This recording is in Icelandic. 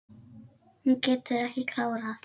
Hún getur ekki klárað.